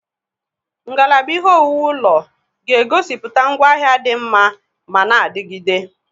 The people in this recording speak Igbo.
Ngalaba ihe owuwu ụlọ ga-egosiputia ngwaahịa di nma mana adigide.